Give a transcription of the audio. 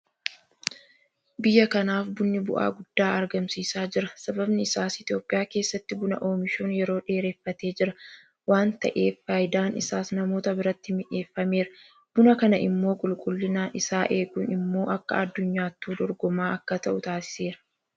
Biyya kanaaf bunni bu'aa guddaa argamsiisaa jira. Sababni isaas Itoophiyaa keessatti Buna oomishuun yeroo dheereffatee jira waanta ta'eef faayidaan isaas namoota biratti mi'eeffameera. Buna kana immoo qulqullina isaa eeguun immoo akka addunyaattuu dorgomaa akka ta'u taasiseera.